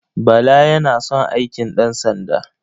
Bala yana son aikin ɗansanda.